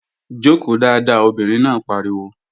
Jòkó dáadáa! Obìnrin náà pariwo